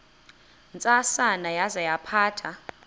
ntsasana yaza yaphatha